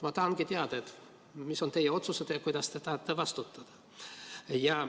Ma tahangi teada, mis on teie otsustada ja kuidas te tahate vastutada.